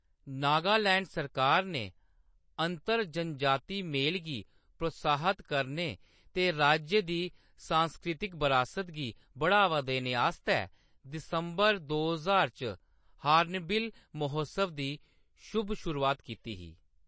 नागालैंड सरकार ने अंतर-जनजाती मेल गी प्रोत्साहत करने ते राज्य दी सांस्कृतिक बरासत गी बढ़ावा देने आस्तै दिसंबर दो ज्हार च हार्नबिल महोत्सव दी शुभ शुरुआत कीती ही।